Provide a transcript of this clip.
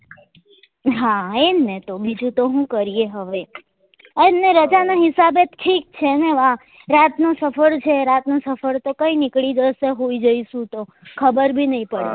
હા એ જ ને તો બીજું તો હું કરીએ હવે એ જ ને રજા ના હિસાબે ઠીક છે ને વા રાત નો સફર છે રાત નો સફર તો કઈ નીકળી જશે હુઈ જઈશું તો ખબર બી નહી પડે